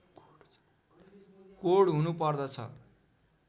code हुनु पर्दछ